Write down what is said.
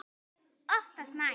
Oftast nær